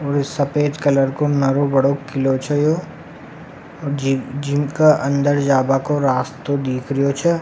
और सफ़ेद कलर को नारो बड़ो किलो छे ये जी जिनका अंदर जावा को रास्ता दिख्रेरयो छे।